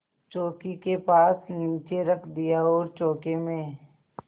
चौकी के पास नीचे रख दिया और चौके में